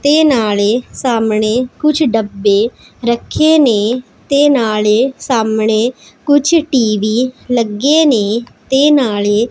ਤੇ ਨਾਲੇ ਸਾਹਮਣੇ ਕੁਝ ਡੱਬੇ ਰੱਖੇ ਨੇ ਤੇ ਨਾਲੇ ਸਾਹਮਣੇ ਕੁਝ ਟੀ_ਵੀ ਲੱਗੇ ਨੇ ਤੇ ਨਾਲੇ --